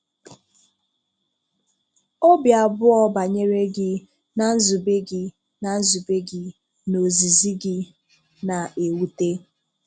Ọ̀bì abụọ̀ banyere gị, na nzùbè gị, na nzùbè gị, na ọ̀zìzì gị. na-ewùtè.